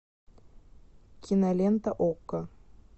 кинолента окко